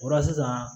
O la sisan